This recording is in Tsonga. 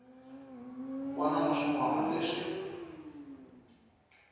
wana na swin wana leswi